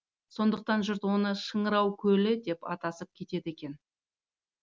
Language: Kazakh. сондықтан жұрт оны шыңырау көлі деп атасып кетеді екен